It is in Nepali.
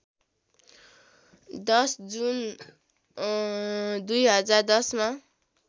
१० जुन २०१०मा